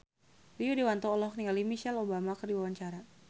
Rio Dewanto olohok ningali Michelle Obama keur diwawancara